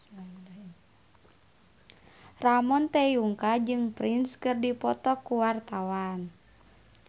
Ramon T. Yungka jeung Prince keur dipoto ku wartawan